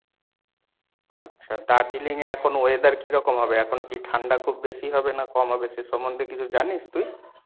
আচ্ছা দার্জিলিং এ এখন weather কী রকম হবে? এখন কী ঠান্ডা খুব বেশি হবে না কম হবে সে সম্বন্ধে কিছু জানিস তুই?